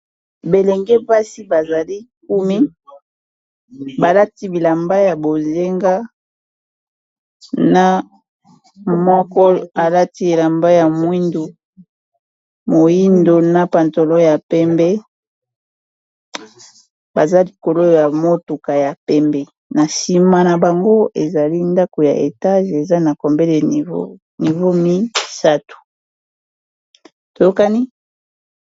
Belenge pasi bazali kumi balati bilamba ya bozenga na moko balati elamba ya moindo na pantolo ya pembe baza likolo ya motuka ya pembe, na nsima na bango ezali ndako ya etage eza na combele ya niva mi sato toyokani